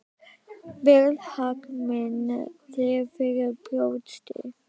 Berð hag minn þér fyrir brjósti.